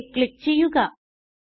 save click ചെയ്യുക